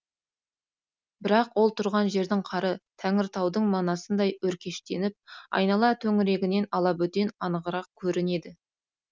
бірақ ол тұрған жердің қары тәңіртаудың манасындай өркештеніп айнала төңірегінен алабөтен анығырақ көрінеді